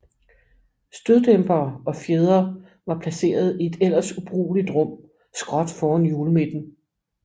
Støddæmpere og fjedre var placeret i et ellers ubrugeligt rum skråt foran hjulmidten